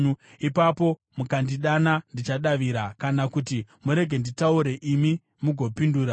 Ipapo mukandidana ndichadavira. Kana kuti murege nditaure, imi mugopindura.